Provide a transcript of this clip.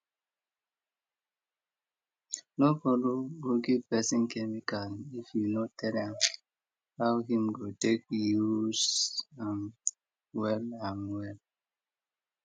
no borrow or give person chemical if you no tell am how him go take use am well am well